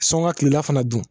Sɔn ka tilela fana dun